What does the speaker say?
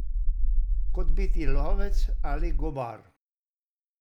Kot biti lovec ali gobar.